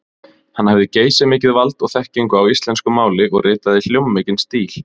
Hann hafði geysimikið vald og þekkingu á íslensku máli og ritaði hljómmikinn stíl.